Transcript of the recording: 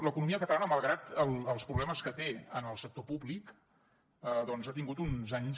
l’economia catalana malgrat els problemes que té en el sector públic doncs ha tingut uns anys